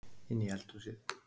Inn í eldhúsið.